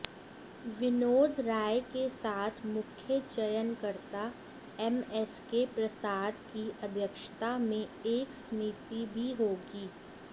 विनोद राय के साथ मुख्य चयनकर्ता एमएसके प्रसाद की अध्यक्षता में एक समिति भी होगी